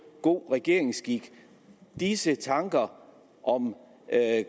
god regeringsskik disse tanker om